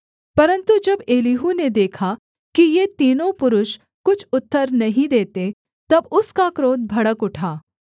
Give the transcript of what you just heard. परन्तु जब एलीहू ने देखा कि ये तीनों पुरुष कुछ उत्तर नहीं देते तब उसका क्रोध भड़क उठा